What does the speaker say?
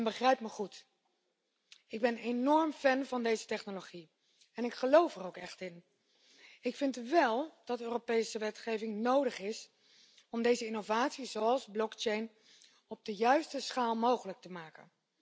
Begrijp me goed ik ben enorm voorstander van deze technologie en geloof er ook echt in. Ik vind wel dat er Europese wetgeving nodig is om innovaties zoals blockchain op de juiste schaal mogelijk te maken.